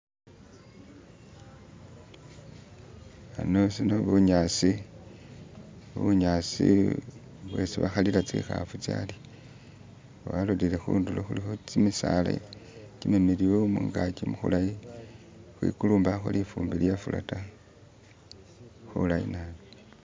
ano shindu bunyasi bunyasi bwesi bahalila tsihafu tsalya nga walolele hundulo huliho kimisaala kimimiliyu mungaki muhulayi khwikuli mbaho lifumbi lyefula ta khulayi nabi